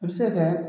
A bɛ se ka kɛ